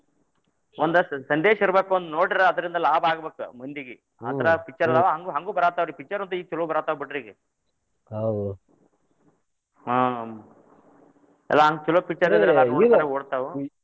ಒಂದ್ ಸ~ ಸಂದೇಶ ಇರ್ಬೆಕ್ ಒಂದ್ ನೋಡಿರ್ ಅದ್ರಿಂದ ಲಾಭ ಆಗಬೇಕ್ ಮಂದಿಗಿ ಅಂದ್ರ picture ಹಂಗು ಹಂಗು ಬರಾತಾವ್ರಿ ಈಗ picture ಅಂತೂ ಚೊಲೋ ಬರಾತಾವ ಬಿಡ್ರಿ ಈಗ ಹಾ ಎಲ್ಲಾ ಹಂಗ್ ಚೊಲೋ picture ಇದ್ರ ನೂರ ದಿನಾ ಓಡ್ತಾವು.